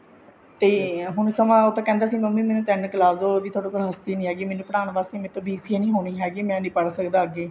ਤੇ ਹੁਣ ਸਮਾ ਉਹ ਤਾਂ ਕਹਿੰਦੇ ਸੀ ਮੰਮੀ ਮੈਨੂੰ ਤਿੰਨ ਲਾਦੋ ਥੋੜੇ ਕੋਲ ਹਸਤੀ ਨੀ ਹੈਗੀ ਮੈਨੂੰ ਪੜ੍ਹਾਉਣ ਵਾਸਤੇ ਮੇਰੇ ਤੋਂ BCA ਨੀ ਹੋਣੀ ਮੈਂ ਨੀ ਪੜ੍ਹ ਸਕਦਾ ਅੱਗੇ